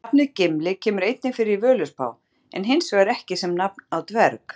Nafnið Gimli kemur einnig fyrir í Völuspá en hins vegar ekki sem nafn á dverg.